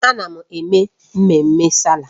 Ana m eme mmemme Sáálà.